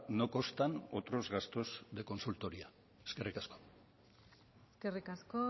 no constan otros gastos de consultoría eskerrik asko eskerrik asko